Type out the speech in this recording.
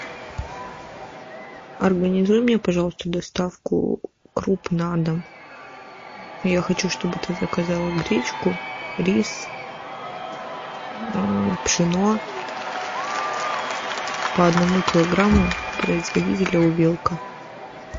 организуй мне пожалуйста доставку круп на дом я хочу чтобы ты заказала гречку рис пшено по одному килограмму производителя увелка